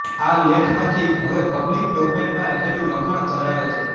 આ લેખ માંથી હવે પબ્લિક ડોમેઇનમાં રહેલું લખાણ ધરાવે છે